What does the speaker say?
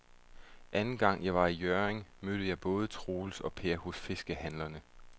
Anden gang jeg var i Hjørring, mødte jeg både Troels og Per hos fiskehandlerne.